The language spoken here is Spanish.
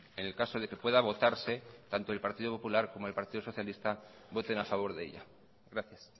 en el caso de que pueda votarse tanto el partido popular como el partido socialista voten a favor de ella gracias